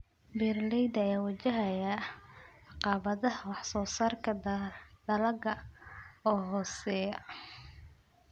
Beeralayda ayaa wajahaya caqabadaha wax soo saarka dalagga oo hooseeya.